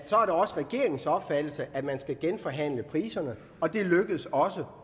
er regeringens opfattelse at man skal genforhandle priserne og det lykkedes også